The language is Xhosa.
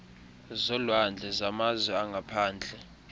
zolwandle zamazwe angaphandle